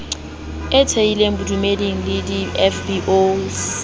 e thehileng bodumeding di fbo